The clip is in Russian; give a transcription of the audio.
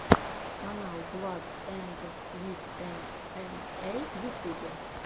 канал бладэндсвитэмэмэй в ютубе